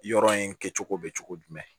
Yɔrɔ in kɛcogo bɛ cogo jumɛn